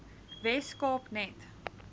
wes kaap net